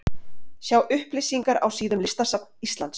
Sjá upplýsingar á síðum listasafns Íslands.